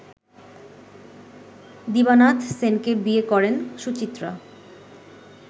দীবানাথ সেনকে বিয়ে করেন সুচিত্রা